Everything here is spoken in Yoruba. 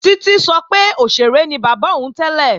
Títí sọ pé òṣèré ni bàbá òun tẹ́lẹ̀